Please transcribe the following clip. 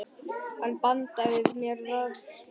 Hann bandaði mér frá sér.